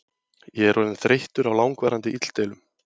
Ég er orðinn þreyttur á langvarandi illdeilum.